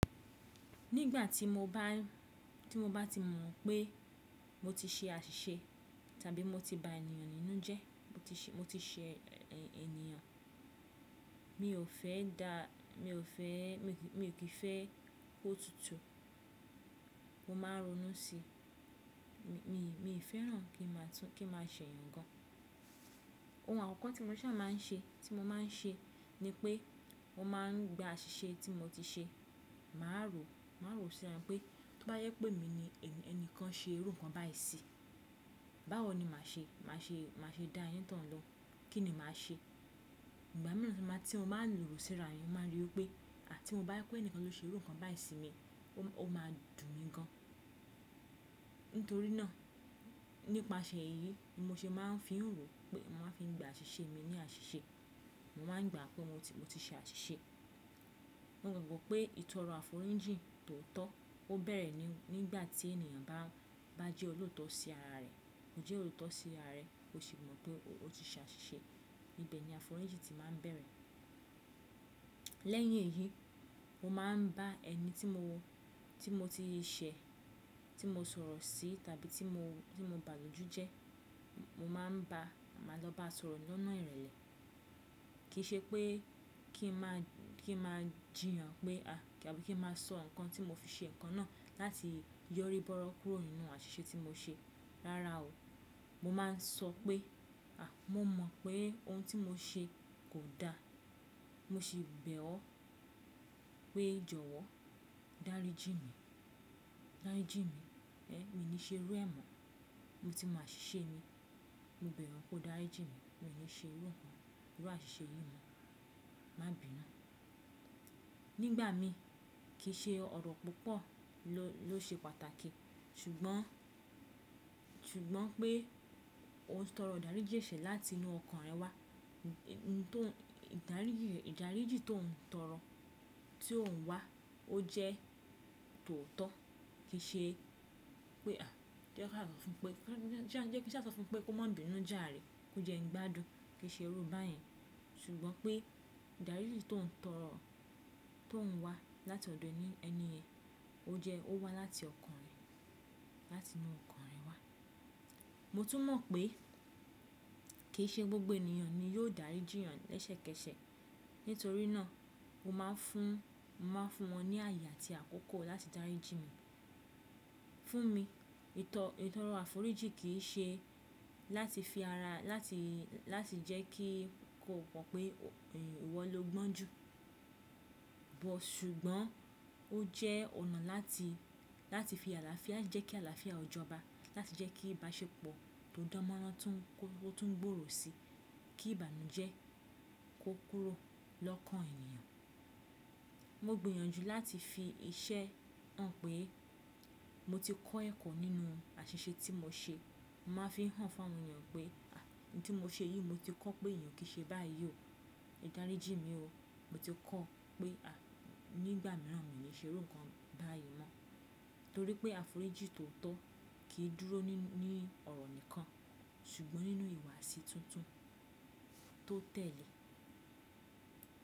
Nígbà tí mo bá, tí mo bá ti mọ̀ pé mo ti ṣe àṣìṣe tàbí mo ti ba ènìyàn nínú jẹ, mo ti ṣe, mo ti ṣe ènìyàn. Mi ò fẹ́ dá, mi ò fẹ́, mi ò kí fẹ́ kó tutù. Mo máa ń ronú sí i. Mi, mi ì fẹ́ràn kí n máa tún, kí n máa ṣẹ̀yàn gan an. Ohun àkọ́kọ́ tí mo ṣà má a ń ṣe, tí mo máa ń ṣe ni pé mo máa ń gba àṣìṣe tí mo ti ṣe. Mà á rò, mà á rò síran pé tó bá yẹ pé mi ni ẹni kan ṣe irú nǹkan báyìí sí, báwo ni mà a ṣe? Mà a ṣe, mà a ṣe dá onítọ̀ún lóùn Kí ni mà a ṣe? Ìgbà mìíràn tí mo máa, tí mo máa ń lórí síra mi, mo máa rí i pé àti mo bá rí pé ẹni kan ló ṣe irú nǹkan báyìí sí mi, ó máa dùn mí gan an. Nítorí náà nípasẹ̀ èyí ni mo ṣe máa ń fi hàn pé mo máa fi gba àṣìṣe mi ní àṣìṣe. Mo máa ń gbà pé mo ti, mo ti ṣe àṣìṣe. Mo gbàgbọ́ pé ìtọrọ àforíjì tó tọ́, ó bẹ̀rẹ̀ nígbà tí ènìyàn bá, bá jẹ́ olóòótọ́ sí ara rẹ̀. Ó jẹ́ olóòótọ́ sí ara rẹ̀, ó sì mọ̀ pé ó ti ṣe àṣìṣe. Nibẹ̀ ni àforíjì ti máa ń bẹ̀rẹ̀. Lẹ́yìn èyí, mo máa ń bá ẹni tí mo, tí mo ti ṣe, tí mo sọ̀rọ̀ sí tàbí tí mo, tí mo bà lójú jẹ, mo máa ń bá, màá lọ bá sọ̀rọ̀ lọ́nà ìrẹ̀lẹ̀. Kì í ṣe pé kí n máa, kí n máa jì yàn pé a, tàbí kí n máa sọ nǹkan tí mo fi ṣe nǹkan náà láti yọrí bọ́rọ́ kúrò nínú àṣìṣe tí mo ṣe. Rárá o. Mo máa ń sọ pé a, mo mọ̀ pé ohun tí mo ṣe kò da. Mo sì bẹ̀ ọ́ pé jọ̀wọ́ dáríjì mí. Dáríjì mí. Ẹ̀, mi ò ní ṣe irú ẹ̀ mọ́. Mo ti mọ̀ àṣìṣe mi. Mo bẹ̀ ọ́ pé dáríjì mí. Mi ò ní ṣe irú nǹkan, irú àṣìṣe yìí mọ́. Má bínú. Nígbà mi kì í ṣe ọ̀rọ̀ púpọ̀ ló ṣe pàtàkì ṣùgbọ́n, ṣùgbọ́n pé o tọrọ ìdáríjì ṣe láti inú ọkàn rẹ wá. Ohun tó n, ìdáríjì, ìdáríjì tó ń tọrọ, tí ó ń wá ó jẹ́ tòóọ́. Kì í ṣe pé a jẹ́ kí a fòfún pé, jẹ́ kí a fòfún pé kó má bínu jàárẹ̀, kó jẹ́ ń gbádùn, kí í ṣe irú bá yẹn. Ṣùgbọ́n pé ìdáríjì tó ń tọrọ, tó ń wá láti ọ̀dọ̀ ẹni ẹni ẹ, ó jẹ́ ó wá láti ọkàn rẹ, láti inú ọkàn rẹ wá. Mo tún mọ̀ pé kì í ṣe gbogbo ènìyàn ni yóò dáríjì yàn lẹ́sẹ̀kẹsẹ̀. Nítorí náà mo máa ń fún, màá fún wọn ní àyè àti àkókò láti dáríjì mi. Fún mi ìtọ, ìtọrọ àforíjì kì í ṣe láti fi ara, láti, láti jẹ́ kí kò pọ̀ pé ìwọ lo gbọ́n jù. Ṣùgbọ́n ó jẹ́ ọ̀nà láti, láti fi àlàáfíà, jẹ́ kí àlàáfíà ò jọba. Láti jẹ́ kí ìbáṣepọ̀ tó dánmọ́rán tún, kó tún gbòòrò sí i. Kí ìbànújẹ́ kó kúrò lọ́kàn ènìyàn. Mo gbìyànjú láti fi iṣẹ́ hàn pé mo ti kọ́ ẹ̀kọ́ nínú àṣìṣe tí mo ṣe. Mo máa ń fi hàn fún àwọn ènìyàn pé, ohun tí mo ṣe yìí mo ti kọ́ pé èèyàn kì í ṣe báyìí o. Dáríjì mí o. Mo ti kọ́ pé, nígbà mìíràn mi ò ní ṣe irú nǹkan báyìí mọ́. Nítorí pé àforíjì tó tọ́ kì í dúró ní, ní ọ̀rọ̀ nìkan ṣùgbọ́n nínú ìwààsí tuntun tó tẹ̀le.